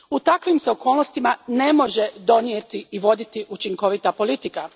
U takvim se okolnostima ne može donijeti i voditi učinkovita politika.